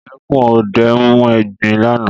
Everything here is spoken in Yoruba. Ìdẹkùn ọdẹ mú egbin lánàá.